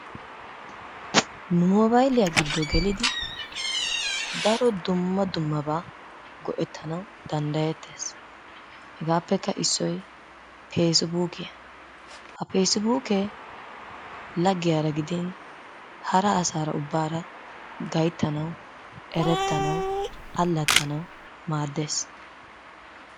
Moobayiliya giddo gelidi daro dumma dummabaa go"ettanawu dandayettes. Hegaappekka issoy peesibuukiya. Ha peesibuukee laggiyaara gidin hara asaara ubbaara gayittanawu, erettanawu, allaxxanawu, maaddes.